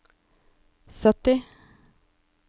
sytti